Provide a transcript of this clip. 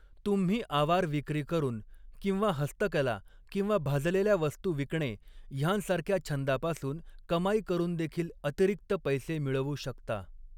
तुम्ही आवार विक्री करून, किंवा हस्तकला किंवा भाजलेल्या वस्तू विकणे ह्यांसारख्या छंदापासून कमाई करूनदेखिल अतिरिक्त पैसे मिळवू शकता.